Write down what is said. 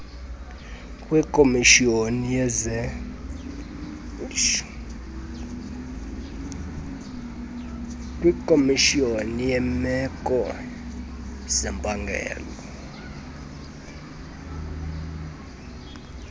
kwekomishoni yeemeko zempangelo